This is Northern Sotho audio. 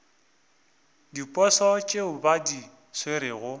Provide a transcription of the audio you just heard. diposo tšeo ba di swerego